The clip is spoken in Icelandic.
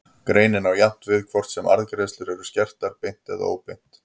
Greinin á jafnt við hvort sem arðgreiðslur eru skertar beint eða óbeint.